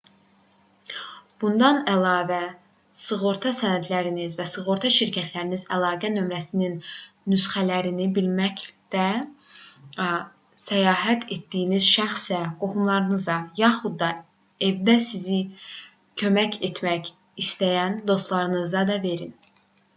bundan əlavə sığorta sənədinizin və sığorta şirkətinizin əlaqə nömrəsinin nüsxələrini birlikdə səyahət etdiyiniz şəxsə qohumlarınıza yaxud da evdə sizə kömək etmək istəyən dostlarınıza da verin